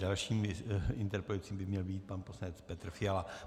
Dalším interpelujícím by měl být pan poslanec Petr Fiala.